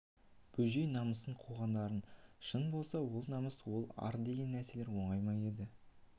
бөжей намысын қуғандары шын болса ол намыс ол ар деген нәрселер оңай ма еді